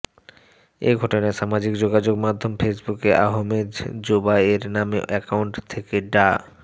এ ঘটনায় সামাজিক যোগাযোগ মাধ্যম ফেসবুকে আহমেদ জোবায়ের নামে অ্যাকাউন্ট থেকে ডা